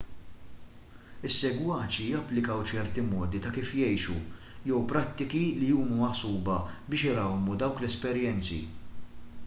is-segwaċi japplikaw ċerti modi ta' kif jgħixu jew prattiki li huma maħsuba biex irawmu dawk l-esperjenzi